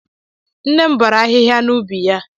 Nne m bọrọ ahịhịa n'ubi ya.